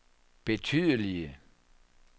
betydelige